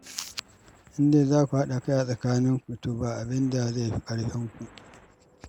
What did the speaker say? In dai za ku haɗa kai a tsakaninku, to ba abin da zai fi ƙarfinku